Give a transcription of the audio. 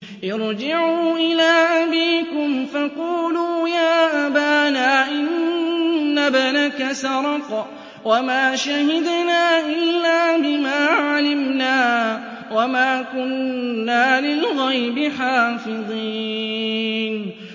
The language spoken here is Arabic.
ارْجِعُوا إِلَىٰ أَبِيكُمْ فَقُولُوا يَا أَبَانَا إِنَّ ابْنَكَ سَرَقَ وَمَا شَهِدْنَا إِلَّا بِمَا عَلِمْنَا وَمَا كُنَّا لِلْغَيْبِ حَافِظِينَ